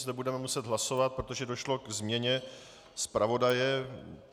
Zde budeme muset hlasovat, protože došlo k změně zpravodaje.